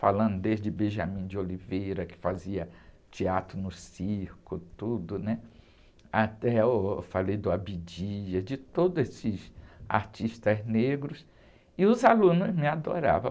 falando desde Benjamin de Oliveira, que fazia teatro no circo, tudo, né? Até uh, falei do Abdias, de todos esses artistas negros, e os alunos me adoravam.